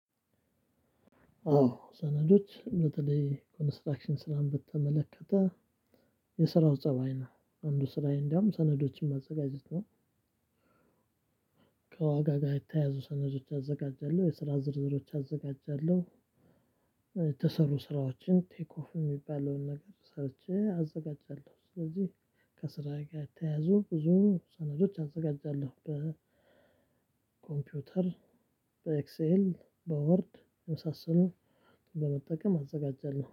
አዎ ሰነዶች በተለይ ኮንስትራክሽን ስራን በተመለከተ የስራው ፀባይ ነው አንዱ ስራዬ እንደውም ሰነዶችን ማዘጋጀት ነው። ከዋጋ ጋር የተያዙ ሰነዶች አዘጋጃለሁ የስራ ዝርዝሮች አዘጋጃለሁ። የተሰሩ ስራዎችን ቴክ ኦፍ የሚባለውን ነገር ሰርቼ አዘጋጃለሁ። ስለዚህ ከስራ ጋር የተያዙ ብዙ ሰነዶች አዘጋጃለሁ በኮምፒውተር በኤክሴል በወርድ የመሳሰሉ በመጠቀም አዘጋጃለሁ